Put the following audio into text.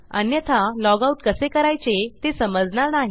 अन्यथा लॉगआउट कसे करायचे ते समजणार नाही